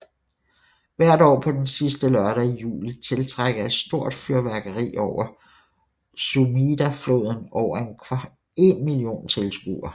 Hvert år på den sidste lørdag i juli tiltrækker et stort fyrværkeri over Sumidafloden over en million tilskuere